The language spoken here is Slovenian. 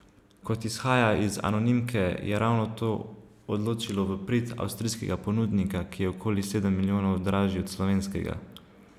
Kot izhaja iz anonimke, je ravno to odločilo v prid avstrijskega ponudnika, ki je okoli sedem milijonov dražji od slovenskega.